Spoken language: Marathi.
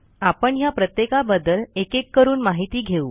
आपण ह्या प्रत्येकाबद्दल एकेक करून माहिती घेऊ